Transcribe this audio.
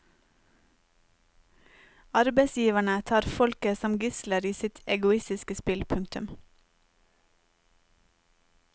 Arbeidsgiverne tar folket som gisler i sitt egoistiske spill. punktum